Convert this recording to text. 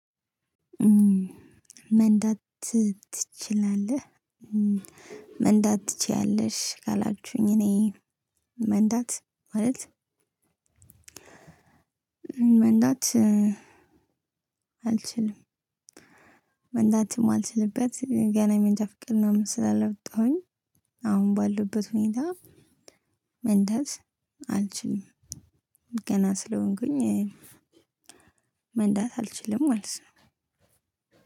መንዳት ትችላለህ መንዳትችያለሽ ካላችሁኝ እኔ መንዳት ማለት መንዳት አልችልም። መንዳት የማልችልበት ገና የመንጃፍቃድ ምናምን ስላላውጣሁኝ አሁን ባልሁበት ሁኔታ። መንዳት አል አልችልም። ገና ስለሆንኩኝ መንዳት አልችልም ማለት ነው።